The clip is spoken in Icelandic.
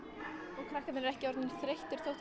og krakkarnir ekki orðnir þreyttir þótt